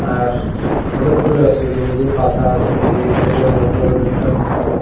আর অনেকগুলা আছে যেমন এই যে পাখা আছে এই সাইডে মোটরের এইটা আছে।